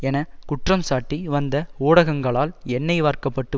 என குற்றம்சாட்டி வந்த ஊடகங்களால் எண்ணெய் வார்க்க பட்டு